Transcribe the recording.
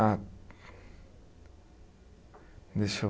Ah, deixa eu